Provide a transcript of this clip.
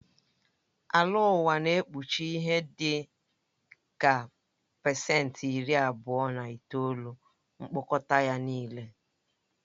Ala ụwa na-ekpuchi ihe dị ka pasenti iri abụọ na itoolu mkpọkọta ya nịle